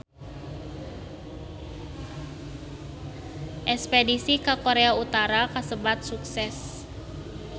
Espedisi ka Korea Utara kasebat sukses